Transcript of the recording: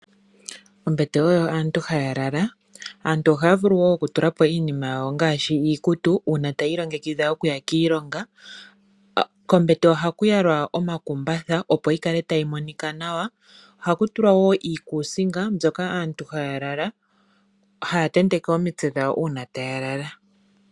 Ombete oyo aantu haya lala , aantu ohaya vulu wo okutulako iikutu una taye ilongekidha okuya kiilonga kohaku yalwa wo omakumbatha opo yikale tayi monika nawa kohaku tulwa wo iikusinga mbyoka aantu hayalala taya teteke omitse dhawo uuna taya lala.